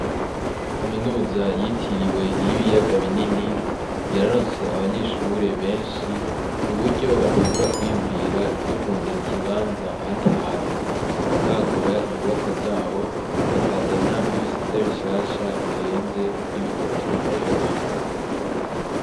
Kamenuza yitiriwe iy'ibiyaga binini yararonse abanyeshure benshi kuburyo biyumvira ivyo kurondera ikibanza ahandi hantu bakagura inyubakwa zabo , bakazana n'ibisate bishasha birenze kuri bitatu bari bafise.